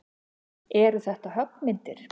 Eru þetta höggmyndir?